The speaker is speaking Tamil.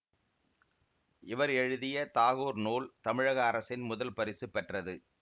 இவர் எழுதிய தாகூர் நூல் தமிழக அரசின் முதல் பரிசு பெற்றது